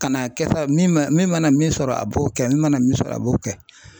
Ka na kɛ sa min ma min mana min sɔrɔ a b'o kɛ min mana min sɔrɔ a b'o kɛ.